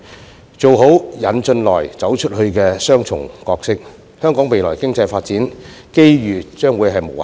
香港做好"引進來，走出去"的雙重角色，未來經濟發展機遇將會無限。